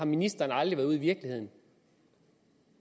ministeren aldrig været ude i virkeligheden